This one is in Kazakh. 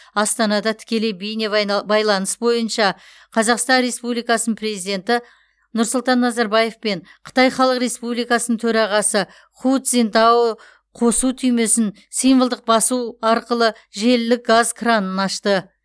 астанада тікелей байланыс бойынша қазақстан республикасы президенті нұрсұлтан назарбаев пен қытай халық республикасының төрағасы ху цзиньтао қосу түймесін символдық басу арқылы желілік газ кранын ашты